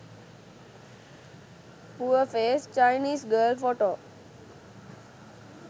pure face chinese girl photo